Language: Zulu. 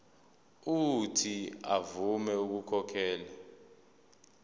uuthi avume ukukhokhela